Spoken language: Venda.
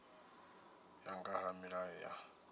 ya nga ha milayo ya